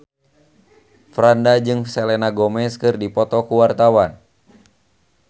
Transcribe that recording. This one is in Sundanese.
Franda jeung Selena Gomez keur dipoto ku wartawan